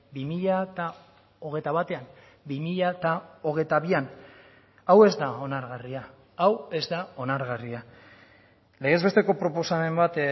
bi mila hogeita batean bi mila hogeita bian hau ez da onargarria hau ez da onargarria legez besteko proposamen bat